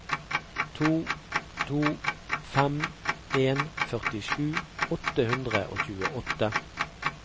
to to fem en førtisju åtte hundre og tjueåtte